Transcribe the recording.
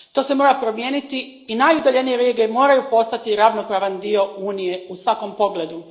To se mora promijeniti i najudaljenije regije moraju postati ravnopravan dio Unije u svakom pogledu.